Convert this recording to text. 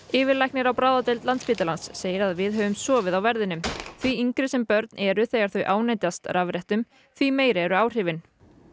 yfirlæknir á bráðadeild Landspítalans segir að við höfum sofið á verðinum því yngri sem börn eru þegar þau ánetjast rafrettum því meiri eru áhrifin